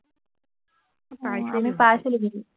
আমি পাইছিলো কিন্তু